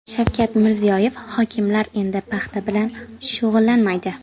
Shavkat Mirziyoyev: Hokimlar endi paxta bilan shug‘ullanmaydi.